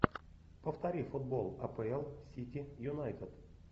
повтори футбол апл сити юнайтед